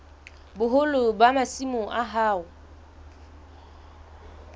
boholo ba masimo a hao